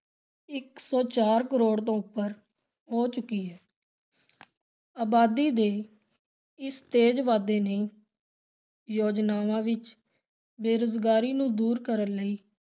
ਇੱਕ ਸੌ ਚਾਰ ਕਰੋੜ ਤੋਂ ਉੱਪਰ ਹੋ ਚੁੱਕੀ ਹੈ ਅਬਾਦੀ ਦੇ ਇਸ ਤੇਜ਼ ਵਾਧੇ ਨੇ ਯੋਜਨਾਵਾਂ ਵਿਚ ਬੇਰੁਜ਼ਗਾਰੀ ਨੂੰ ਦੂਰ ਕਰਨ ਲਈ